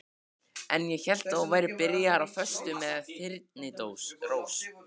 Ég hélt að þú værir byrjaður á föstu með Þyrnirós.